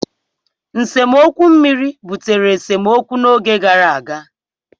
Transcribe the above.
nsemokwu mmiri butere esemokwu n'oge gara aga.